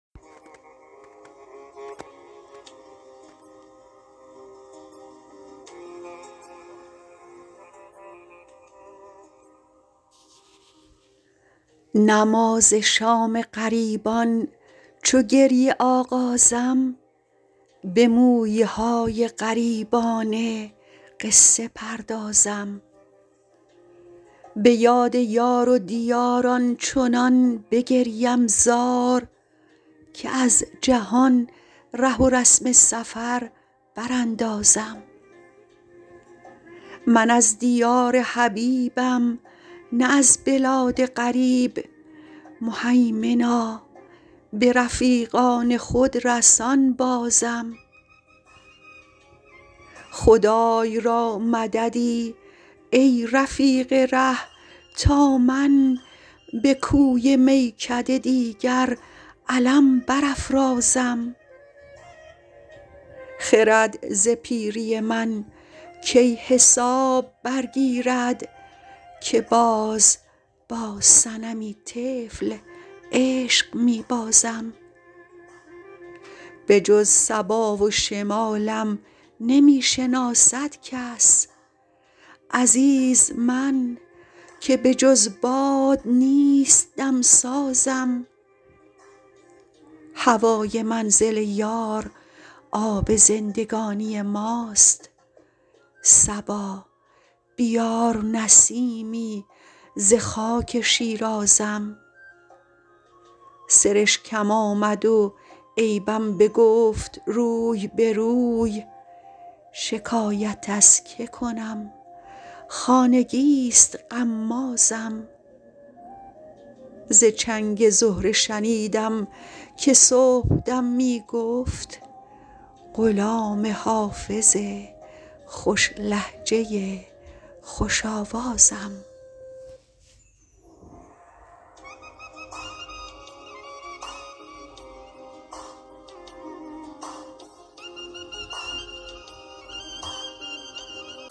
نماز شام غریبان چو گریه آغازم به مویه های غریبانه قصه پردازم به یاد یار و دیار آنچنان بگریم زار که از جهان ره و رسم سفر براندازم من از دیار حبیبم نه از بلاد غریب مهیمنا به رفیقان خود رسان بازم خدای را مددی ای رفیق ره تا من به کوی میکده دیگر علم برافرازم خرد ز پیری من کی حساب برگیرد که باز با صنمی طفل عشق می بازم بجز صبا و شمالم نمی شناسد کس عزیز من که بجز باد نیست دم سازم هوای منزل یار آب زندگانی ماست صبا بیار نسیمی ز خاک شیرازم سرشکم آمد و عیبم بگفت روی به روی شکایت از که کنم خانگی ست غمازم ز چنگ زهره شنیدم که صبح دم می گفت غلام حافظ خوش لهجه خوش آوازم